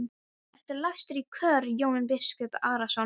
Ertu lagstur í kör Jón biskup Arason?